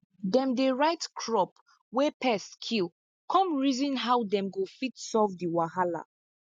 dem dey write crop wey pests kill come reason how dem go fit solve di wahala